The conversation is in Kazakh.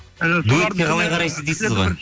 і дуэтке қалай қарайсыз дейсіз ғой